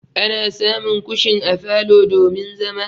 Ana samun kushin a falo domin zama.